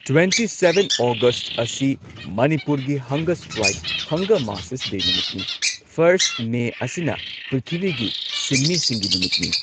Twenty seven August ꯑꯁꯤ ꯃꯅꯤꯄꯨꯔꯒꯤ ꯍꯪꯒꯔ strike ꯍꯪꯒꯔ marchers ꯗꯦ ꯅꯨꯃꯤꯠꯅꯤ꯫ ꯐꯔꯁꯠ ꯃꯦ ꯑꯁꯤꯅ ꯄ꯭ꯔꯤꯊꯤꯕꯤꯒꯤ ꯁꯤꯟꯃꯤꯁꯤꯡꯒꯤ ꯅꯨꯃꯤꯠꯅꯤ꯫